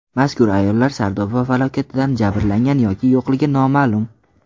Mazkur ayollar Sardoba falokatidan jabrlangan yoki yo‘qligi noma’lum.